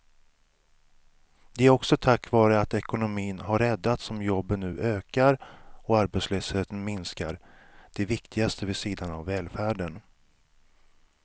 Det är också tack vare att ekonomin har räddats som jobben nu ökar och arbetslösheten minskar, det viktigaste vid sidan av välfärden.